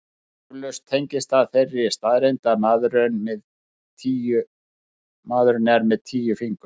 Eflaust tengist það þeirri staðreynd að maðurinn er með tíu fingur.